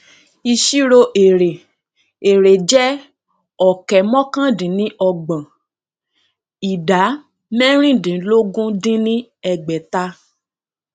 ìṣirò èrè èrè jẹ ọkẹ mọkàndínníọgbọn ìdá mẹrìndínlógún dín ní ẹgbẹta